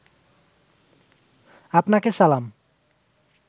আপনাকে সালাম